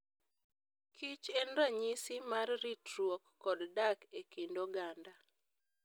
kich en ranyisi mar ritruok kod dak e kind oganda.